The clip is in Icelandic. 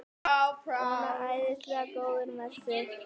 Svona æðislega góður með sig!